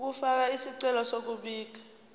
ukufaka isicelo sokubika